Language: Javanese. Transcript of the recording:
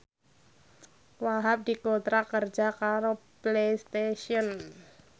Wahhab dikontrak kerja karo Playstation